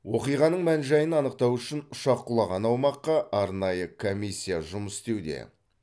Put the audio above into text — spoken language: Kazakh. оқиғаның мән жайын анықтау үшін ұшақ құлаған аумаққа арнайы комиссия жұмыс істеуде